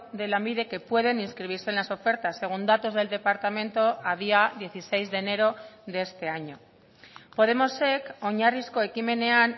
de lanbide que pueden inscribirse en las ofertas según datos del departamento a día dieciséis de enero de este año podemosek oinarrizko ekimenean